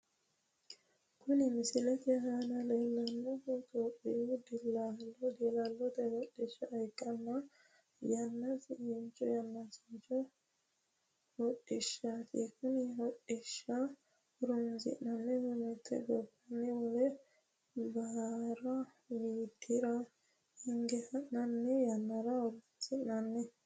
Kunni misilete aanna la'neemohu topiyu diillallote hodhisha ikkanna yanaasincho hodhishati konne hodhisha horoonsi'nannihu mite gobbanni wole Baarra widira hinge ha'nanni yannara horoonsi'nanni.